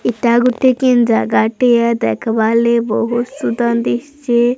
ଏଟା ଗୁଟେ କିନ ଜାଗା ଟିଏ ଦେଖ୍ ବାର୍ ଲାଗି ବହୁତ ସୁନ୍ଦର ଦିସଚେ।